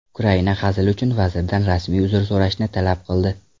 Ukraina hazil uchun vazirdan rasmiy uzr so‘rashni talab qildi.